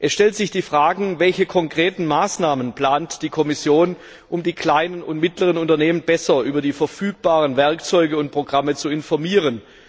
Es stellt sich die Frage, welche konkreten Maßnahmen die Kommission plant, um die kleinen und mittleren Unternehmen besser über die verfügbaren Werkzeuge und Programme zu informieren.